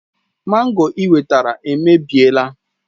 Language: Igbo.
Mango ị wetara èmèbịèlà